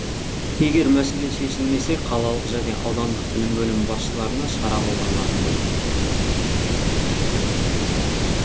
егер мәселе шешілмесе қалалық және аудандық білім бөлімі басшыларына шара қолданылатын болады